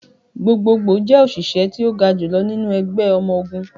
Gbogbogbo jẹ oṣiṣẹ ti o ga julọ ninu ẹgbẹ ọmọ ogun.